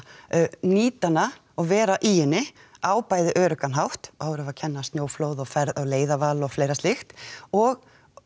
nýta hana og vera í henni á bæði öruggann hátt þá erum við að kenna snjóflóð og leiðarval og fleira slíkt og